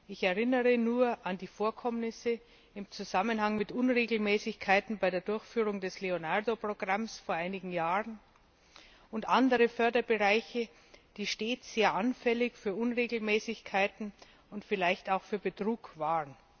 Ich erinnere nur an die Vorkommnisse im Zusammenhang mit Unregelmäßigkeiten bei der Durchführung des Leonardo Programms vor einigen Jahren und andere Förderbereiche, die stets sehr anfällig für Unregelmäßigkeiten und vielleicht auch für Betrug waren.